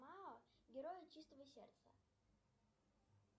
герои чистого сердца